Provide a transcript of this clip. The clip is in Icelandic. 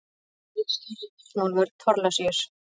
Ritstjóri Örnólfur Thorlacius.